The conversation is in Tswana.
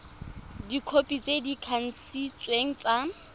dikhopi tse di kanisitsweng tsa